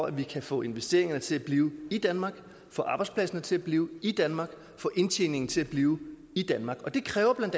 at vi kan få investeringerne til at blive i danmark få arbejdspladserne til at blive i danmark få indtjeningen til at blive i danmark og det kræver bla